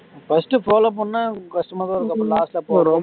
first follow பண்ண கஷ்டமாதான் இருக்கும் அப்பறோம் last ஆ போற